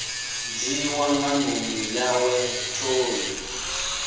dzhiiwa nga ndumi yawe toni